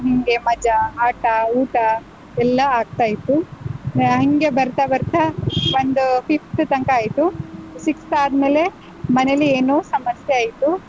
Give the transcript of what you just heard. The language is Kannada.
ಹಿಂಗೆ ಮಜಾ, ಆಟ, ಊಟ ಎಲ್ಲಾ ಆಗ್ತಾ ಇತ್ತು. ಆಹ್ ಹಿಂಗೆ ಬರ್ತಾ ಬರ್ತಾ ಒಂದ್ fifth ತನ್ಕ ಆಯ್ತು, sixth ಆದ್ಮೇಲೆ ಮನೇಲಿ ಏನೋ ಸಮಸ್ಯೆ ಆಯ್ತು.